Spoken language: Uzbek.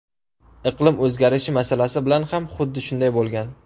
Iqlim o‘zgarishi masalasi bilan ham xuddi shunday bo‘lgan.